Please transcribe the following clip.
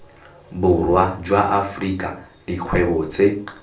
borwa jwa afrika dikgwebo tse